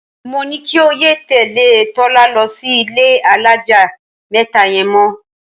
Mo ní kí o yé tè̩lé̩ Tó̩la lo̩ sí ilé alájà mé̩ta ye̩n mo̩.